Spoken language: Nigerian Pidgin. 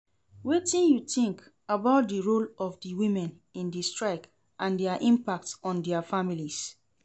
Wetin you think about di role of di women in di strike and dia impact on dia families?